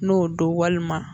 N'o don walima